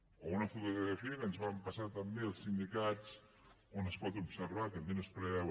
o una altra fotografia que ens van passar també els sindicats on es pot observar que aquí no es preveu